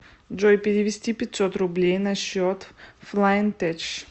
джой перевести пятьсот рублей на счет флайн теч